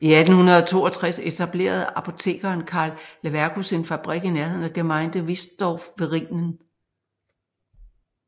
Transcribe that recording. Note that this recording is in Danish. I 1862 etablerede apotekeren Carl Leverkus en fabrik i nærheten af Gemeinde Wiesdorf ved Rhinen